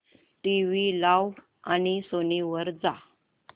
TV लाव आणि Sony वर जा